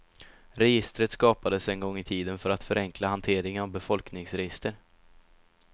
Registret skapades en gång i tiden för att förenkla hanteringen av befolkningsregister.